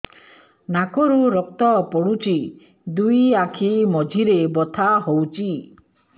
ନାକରୁ ରକ୍ତ ପଡୁଛି ଦୁଇ ଆଖି ମଝିରେ ବଥା ହଉଚି